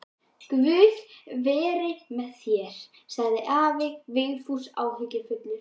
Guð veri með þér, sagði afi Vigfús áhyggjufullur.